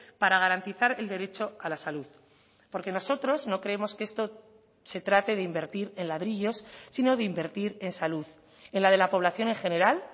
para garantizar el derecho a la salud porque nosotros no creemos que esto se trate de invertir en ladrillos sino de invertir en salud en la de la población en general